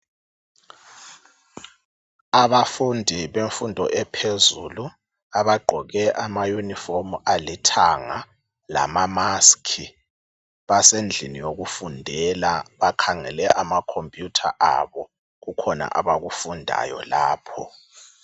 Abafundi bemfundo ephezulu abagqoke ama unifomu alithanga lama maskhi basendlini yokufundela bakhangele amacomputer abo kukhona abakufundayo lapho